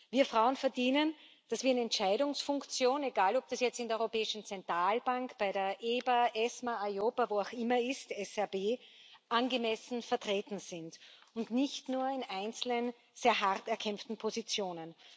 Wir Frauen verdienen, dass wir in Entscheidungsfunktionen, egal ob das jetzt in der Europäischen Zentralbank, bei der EBA, ESMA, EIOPA, wo auch immer ist, ESRB, angemessen vertreten sind, und nicht nur in einzelnen sehr hart erkämpften Positionen!